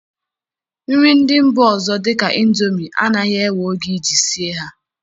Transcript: Nri ndị mba ọzọ dị ka ịndomi anaghị ewe oge iji sie ha